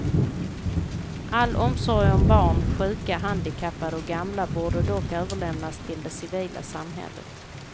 All omsorg om barn, sjuka, handikappade och gamla borde dock överlämnas till det civila samhället.